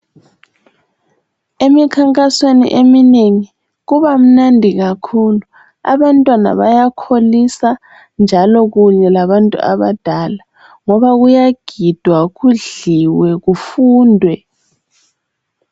Emikhankasweni eminengi, kubamnandi kakhulu! Abantwana bayakholisa, njalo kunye labantu adadala, ngoba kuyagidwa, kudliwe. Kufundwe.